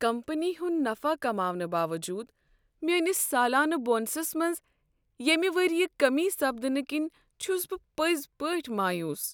Company ہُنٛد نفع کماونہٕ باوجود میٲنِس سالانہٕ بونسس منٛز ییمہِ ورییہِ كمی سپدنہٕ كِنۍ چھُس بہٕ پزۍ پٲٹھۍ مایوس۔